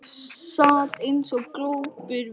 Sat eins og glópur við hlið hennar.